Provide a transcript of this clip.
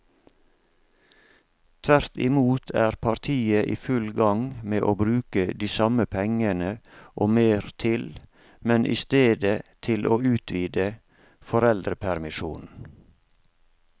Tvert imot er partiet i full gang med å bruke de samme pengene og mer til, men i stedet til å utvide foreldrepermisjonen.